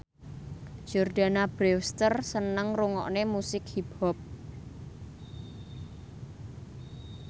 Jordana Brewster seneng ngrungokne musik hip hop